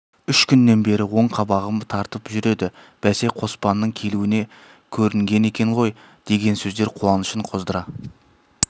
үш күннен бері оң қабағым тартып жүр еді бәсе қоспанның келуіне көрінген екен ғой деген сөздер қуанышын қоздыра